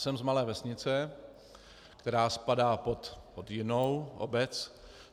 Jsem z malé vesnice, která spadá pod jinou obec.